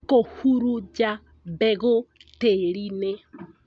Kũhurunja mbegũ tĩri-inĩ